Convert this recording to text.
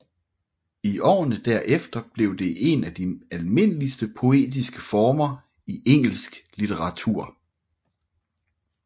I årene derefter blev det en af de almindeligste poetiske former i engelsk litteratur